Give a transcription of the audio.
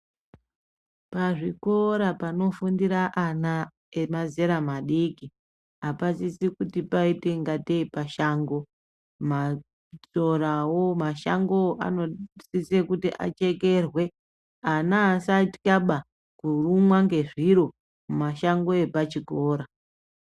Pazvikora panofundira ana emazera madiki apadikwi kuti paite ingatei pashango. Masorawo, mashangowo anosisa kuti achekerwe. Ana asatyaba kurumwa ngezviro mumashango epachikora.